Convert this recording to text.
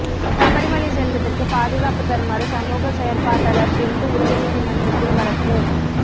சபரிமலை செல்வதற்கு பாதுகாப்பு தருமாறு சமூக செயற்பாட்டாளர் பிந்து உச்சநீதிமன்றத்தில் வழக்கு